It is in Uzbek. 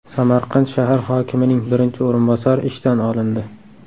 Samarqand shahar hokimining birinchi o‘rinbosari ishdan olindi.